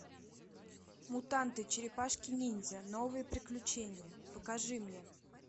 мутанты черепашки ниндзя новые приключения покажи мне